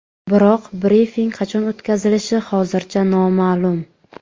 Biroq brifing qachon o‘tkazilishi hozircha noma’lum.